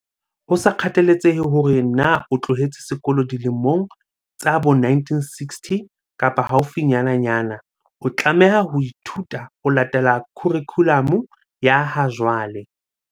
Ho sa kgathaletsehe hore na o tloheletse sekolo dilemong tsa bo 1960 kapa haufinyananyana, o tlameha ho ithuta ho latela khurikhulamu ya ha jwale.